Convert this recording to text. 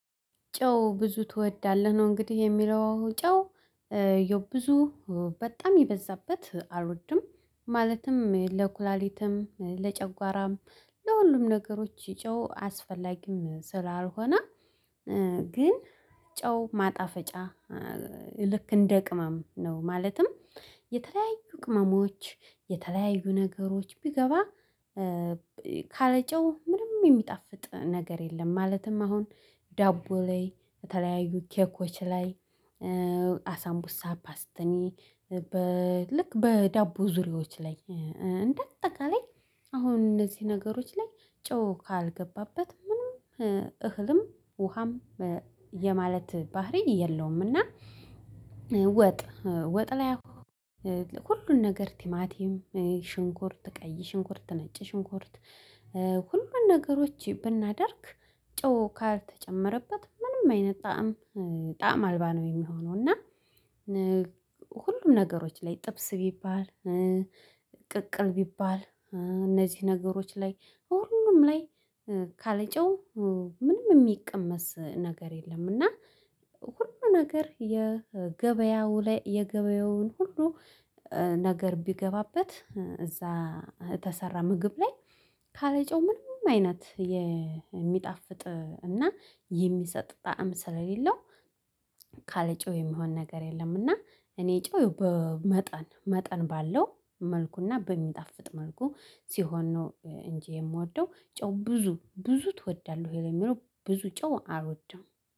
ጨው ብዙ ትወዳለህ? ነው እንግዲህ የሚለው ጨው የው ብዙ በጣም የበዛበት አልወድም ማለትም ለኩላሊትም ለጨጓራም ለሁሉም ነገሮች ይጮህ አስፈላጊም ስላልሆነ። ግን ጨው ማጣፈጫ ልክ ቅመም ነው። ማለትም የተለያዩ ቅመሞች የተለያዩ ነገሮች ቢገባ ካለጨው ምንም የሚጣፍጥ ነገር የለም። ማለትም አሁን ዳቦ ላይ በተለያዩ ኬኮች ላይ አሳምቡሳ ፓስተኒ በ ልክ በዳቦ ዙሪያዎች ላይ እንደ አጠቃላይ አሁን እነዚህ ነገሮች ላይ ጮህ ካልገባበት ምንም እህልም ውሃም የማለት ባህሪ የለውምና። ወጥ ወጥ ላይ ሁሉን ነገር ቲማቲም ሽንኩርት ቀይ ሽንኩርት ተነጭ ሽንኩርት ሁሉን ነገሮች ብናደርግ ጮህ ካልተጨመረበት ምንም አይነት ጣዕም ጣዕም አልባ ነው የሚሆነው። እና ሁሉም ነገሮች ላይ ጥብስ ቢባል ቅቅል ቢባል እነዚህ ነገሮች ላይ እውነትም ላይ ካልጨው ምንም የሚቀመስ ነገር የለም። እና ሁሉ ነገር የገበያው ላይ የገበያውን ሁሉ ነገር ቢገባበት እዛ የተሰራ ምግብ ላይ ካለጨው ምንም አይነት የሚጣፍጥ እና የሚሰጥ ጣዕም ስለሌለው። ካለጮህ የሚሆን ነገር የለም። እና እኔ ጮህ በመጠን መጠን ባለው መልኩና በሚጣፍጥ መልኩ ሲሆን ነው እንጂ የምወደው። ጨው ብዙ ብዙ ትወዳለህ ወይ? የሚለው ብዙ ጨው አልወደም